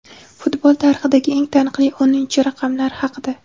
Futbol tarixidagi eng taniqli o‘ninchi raqamlar haqida.